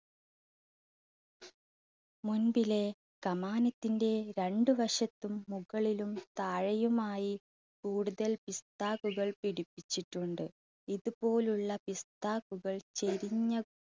മുൻപിലെ കമാനത്തിന്റെ രണ്ടുവശത്തും മുകളിലും താഴെയുമായി കൂടുതൽ പിസ്ത്താക്കുകൾ പിടിപ്പിച്ചിട്ടുണ്ട്. ഇതുപോലുള്ള പിസ്ത്താക്കുകൾ ചെരിഞ്ഞ